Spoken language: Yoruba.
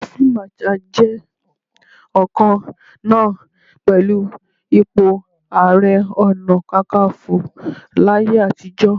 Ipò Field Marshal jẹ́ ọ̀kan náà pẹ̀lú ipò Ààrẹ Ọ̀nà Kakaǹfò láyé àtijọ́.